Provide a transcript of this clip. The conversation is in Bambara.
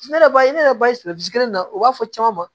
Ne yɛrɛ ba ye ne yɛrɛ ba ye na u b'a fɔ caman ma